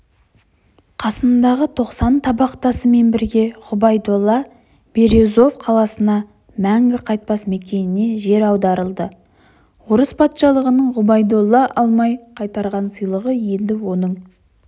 қасындағы тоқсан табақтасымен бірге ғүбайдолла березов қаласына мәңгі қайтпас мекеніне жер аударылды орыс патшалығының ғұбайдолла алмай қайтарған сыйлығы енді оның